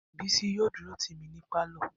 Bisi yóò dúró tì mí ní pálọ̀